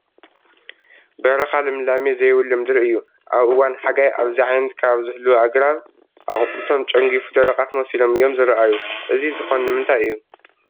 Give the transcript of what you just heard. በረኻ ልምላሜ ዘይብሉ ምድሪ እዩ፡፡ ኣብ እዋን ሓጋይ ኣብዚ ዓይነት ከባቢ ዝህልዉ ኣግራብ ኣቑፅልቶም ጨንጊፉ ደረቓት መሲሶም እዮም ዝርኣዩ፡፡ እዚ ዝኾን ንምንታ እዩ?